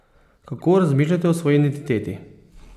Kako razmišljate o svoji identiteti?